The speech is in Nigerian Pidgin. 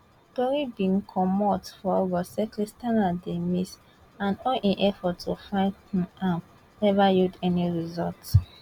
tori bin comot for august say christianah dey miss and all efforts to find um am neva yield any results